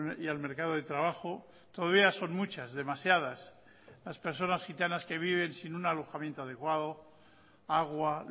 y al mercado de trabajo todavía son muchas demasiadas las personas gitanas que viven sin un alojamiento adecuado agua